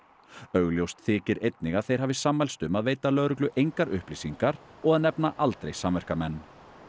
augljóst þykir einnig að þeir hafi sammælst um að veita lögreglu engar upplýsingar og að nefna aldrei samverkamenn